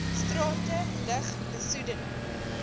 strate lug besoedeling